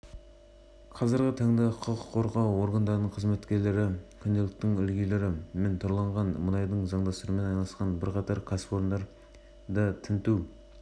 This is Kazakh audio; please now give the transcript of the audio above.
шұғыл іздестіру шаралары барысында мұнай ұрлады деген күдікпен бірнеше адам ұсталып мұнай және мұнай өнімдері тиелген